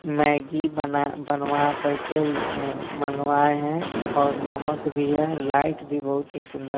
Maggi बना बनवा कर के मगवाये हैं और नमक भी है लाइट भी बहुत ही सुंदर--